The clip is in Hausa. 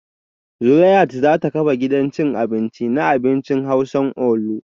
Zuleihat za ta kafa gidan cin abinci na abincin hausa onlu